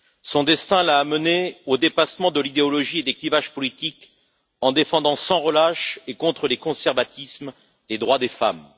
Son destin l'a amenée au dépassement de l'idéologie et des clivages politiques, en défendant, sans relâche et contre les conservatismes, les droits des femmes.